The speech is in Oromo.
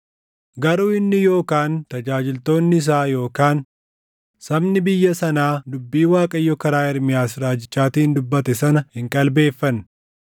Garuu inni yookaan tajaajiltoonni isaa yookaan sabni biyya sanaa dubbii Waaqayyo karaa Ermiyaas raajichaatiin dubbate sana hin qalbeeffanne.